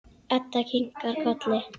Edda kinkar kolli.